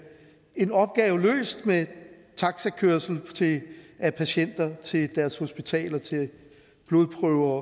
en opgave løst med taxakørsel af patienter til deres hospitaler til blodprøver